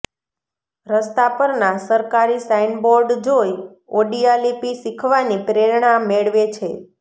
રસ્તા પરના સરકારી સાઈનબોર્ડ જોઈ ઓડિયા લિપિ શીખવાની પ્રેરણા મેળવે છે